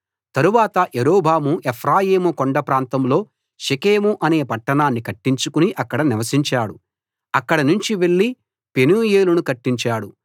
తరువాత యరొబాము ఎఫ్రాయిము కొండప్రాంతంలో షెకెము అనే పట్టణాన్ని కట్టించుకుని అక్కడ నివసించాడు అక్కడ నుంచి వెళ్లి పెనూయేలును కట్టించాడు